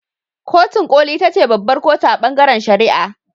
Kotun koli ita ce babbar kotu a ɓangaren shari'a.